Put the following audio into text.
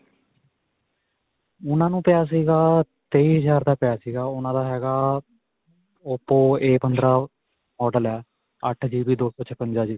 ਉਨ੍ਹਾਂ ਨੂੰ ਪਿਆ ਸਿਗਾ ਤੇਈ ਹਜ਼ਾਰ ਦਾ, ਪਇਆ ਸਿਗਾ. ਉਨ੍ਹਾਂ ਦਾ ਹੈਗਾ oppoa ਪੰਦਰਾ model ਹੈ ਅੱਠ gb ਦੋ ਸੋ ਛਪੰਜਾ ਜੀ.